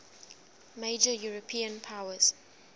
major european powers